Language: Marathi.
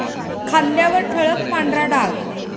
खांद्यावर ठळक पांढरा डाग